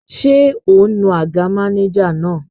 Ṣé o nu àga mánéjà náà?